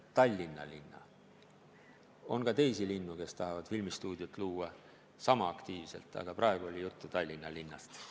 On ka teisi linnu, kes tahavad filmistuudiot luua sama aktiivselt, aga praegu oli juttu Tallinna linnast.